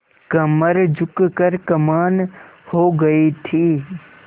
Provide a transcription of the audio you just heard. कमर झुक कर कमान हो गयी थी